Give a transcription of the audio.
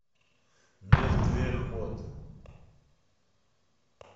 мертвеход